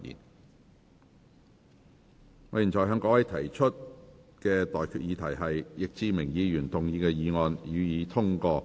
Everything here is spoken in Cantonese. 我現在向各位提出的待決議題是：易志明議員動議的議案，予以通過。